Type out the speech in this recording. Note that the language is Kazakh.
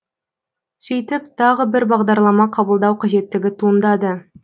сөйтіп тағы бір бағдарлама қабылдау қажеттігі туындады